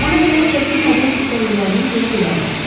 Ona görə çəkinmədən istədiklərini deyə bilərlər.